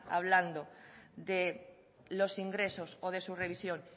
hablando de los ingresos o de su revisión